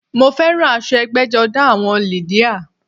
Mo féràn aso egbéjodá àwon lìdíà